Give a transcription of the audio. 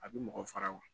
A bɛ mɔgɔ faga wa